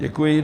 Děkuji.